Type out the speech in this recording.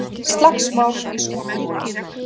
Slagsmál í Skútuvogi